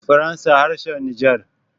faransa harshen niger